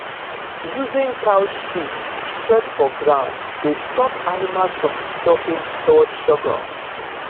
using cow shit spread for ground dey stop animals from disturbing stored sorghum